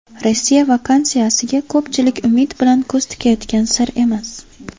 Rossiya vaksinasiga ko‘pchilik umid bilan ko‘z tikayotgani sir emas.